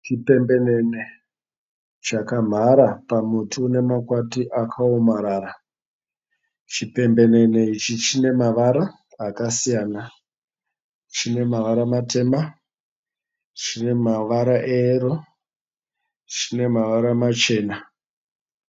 Chipembenene chakamhara pamuti une makwati akaomarara. Chipembenene ichi chine mavara akasiyana. Chine mavara matema, chine mavara eyero chine mavara machena.